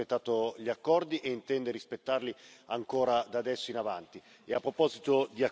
Questo Parlamento ha sempre rispettato gli accordi e intende rispettarli ancora, da adesso in avanti.